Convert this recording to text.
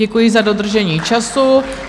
Děkuji za dodržení času.